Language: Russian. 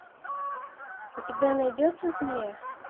у тебя найдется змея